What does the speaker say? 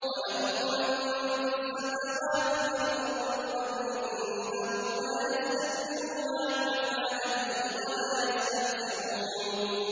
وَلَهُ مَن فِي السَّمَاوَاتِ وَالْأَرْضِ ۚ وَمَنْ عِندَهُ لَا يَسْتَكْبِرُونَ عَنْ عِبَادَتِهِ وَلَا يَسْتَحْسِرُونَ